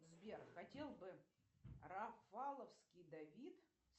сбер хотел бы рафаловский давид